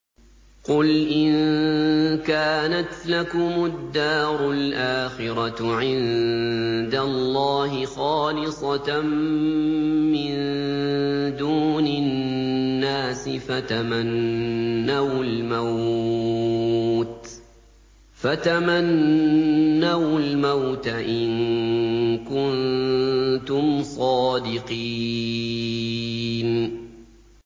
قُلْ إِن كَانَتْ لَكُمُ الدَّارُ الْآخِرَةُ عِندَ اللَّهِ خَالِصَةً مِّن دُونِ النَّاسِ فَتَمَنَّوُا الْمَوْتَ إِن كُنتُمْ صَادِقِينَ